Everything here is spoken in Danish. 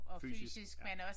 Fysisk ja